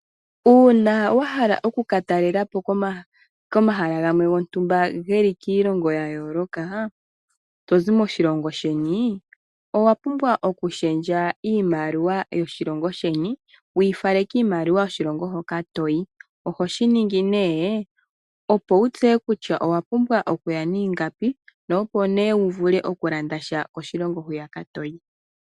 Uuna wa hala oku ka talela po komahala gamwe gontumba ge li kiilongo ya yooloka to zi mishilongo sheni, owa pumbwa oku shendja iimaliwa yoshilongo sheni wu yi fale kiimaliwa yoshilongo hoka toyi. Oho shi ningi nee opo wu tseye kutya owa pumbwa okuya niingapi na opo wu vule oku landa sha koshilongo hoka toyi.